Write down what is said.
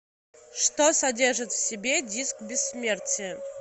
что содержит в себе диск бессмертия